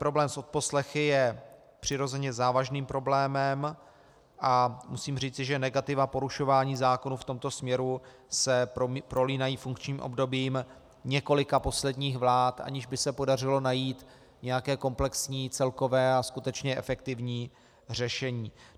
Problém s odposlechy je přirozeně závažným problémem a musím říci, že negativa porušování zákonů v tomto směru se prolínají funkčním obdobím několika posledních vlád, aniž by se podařilo najít nějaké komplexní, celkové a skutečně efektivní řešení.